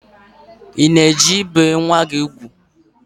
I na-eje ibe nwa ugwu?